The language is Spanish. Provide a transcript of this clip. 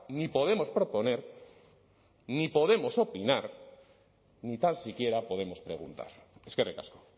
ni podemos proponer ni podemos opinar ni tan siquiera podemos preguntar eskerrik asko